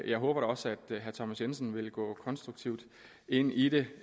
jeg håber da også at herre thomas jensen vil gå konstruktivt ind i det